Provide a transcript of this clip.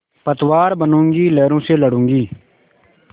पतवार बनूँगी लहरों से लडूँगी